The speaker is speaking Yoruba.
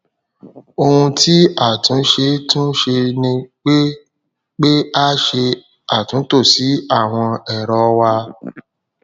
ohun tí a tún ṣe tún ṣe ni pé pé a ṣe àtúntò sí àwọn ẹrọ wa